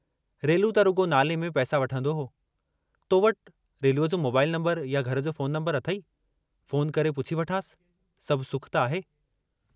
रेलू त रुगो नाले में पैसा वठंदो हो, तो वटि रेलूअ जो मोबाईल नम्बर या घर जो फोन नम्बरु अथेई, फोन करे पुछी वठांसि, सभु सुख त आहे।